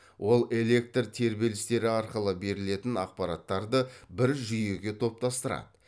ол электр тербелістері арқылы берілетін ақпараттарды бір жүйеге топтастырады